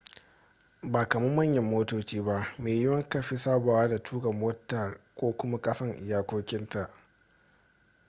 ba kaman manyan motoci ba maiyiwuwa kafi sabawa da tuka motar ka kuma kasan iyakokinta